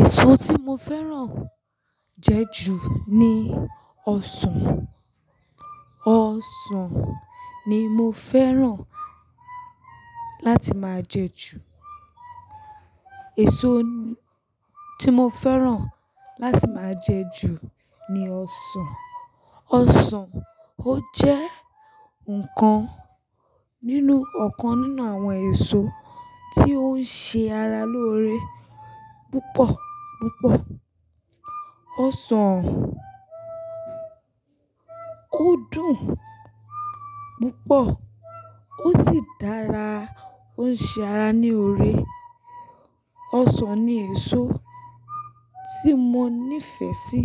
Èso tí mo fẹ́ràn jẹ ju ní ọsàn. Ọsàn ni mo fẹ́ràn láti máa jẹ ju. Èso tí mo fẹ́ràn láti máa jẹ ju ní ọsàn. Ọsàn ó jẹ́ nǹkan nínú ọ̀kan nínú àwọn èso, tí ó ń ṣe ara lóore púpọ̀ púpọ̀. Ọsàn ó dùn púpọ̀ ó sì dára, ó ń ṣe ara ní ore. Ọsàn ni èso tí mo nífẹ̀ẹ́ sí,